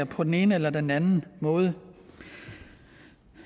på den ene eller den anden måde